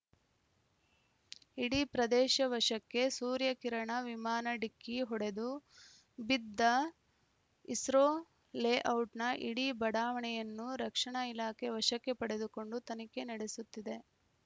ಇಡೀ ಪ್ರದೇಶ ವಶಕ್ಕೆ ಸೂರ್ಯಕಿರಣ ವಿಮಾನ ಡಿಕ್ಕಿ ಹೊಡೆದು ಬಿದ್ದ ಇಸ್ರೋ ಲೇಔಟ್‌ನ ಇಡೀ ಬಡಾವಣೆಯನ್ನು ರಕ್ಷಣಾ ಇಲಾಖೆ ವಶಕ್ಕೆ ಪಡೆದುಕೊಂಡು ತನಿಖೆ ನಡೆಸುತ್ತಿದೆ